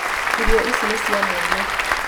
Irio ici nĩ cia mwana